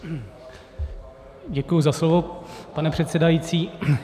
Děkuji za slovo, pane předsedající.